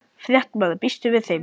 Fréttamaður: Býstu við þeim?